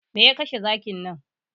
Me ya kashe zakin nan?